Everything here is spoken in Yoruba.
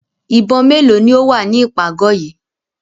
Ìbọn mélòó ni ó wà ní ìpàgọ̀ yìí?